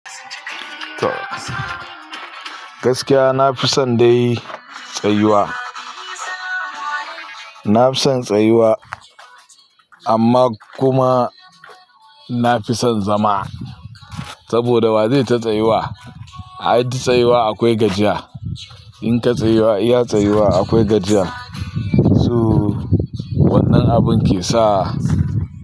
Gaskiya nafison dai tsayuwa, nafison tsayuwa amma kuma nafison zama saboda wazai ta tsayuwa. A duk tsayuwa akwai gajiya. In ka tsayuwa, iya tsayuwa akwai gajiya. So wannan abun kesa.